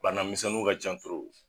Banamisɛnnun ka ca